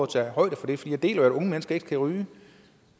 tage højde for det for jeg deler jo at unge mennesker ikke skal ryge